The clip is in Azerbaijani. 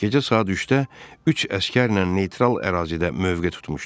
Gecə saat 3-də üç əsgərlə neytral ərazidə mövqe tutmuşduq.